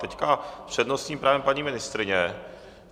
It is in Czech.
Teď s přednostním právem paní ministryně.